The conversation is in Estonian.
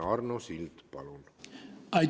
Arno Sild, palun!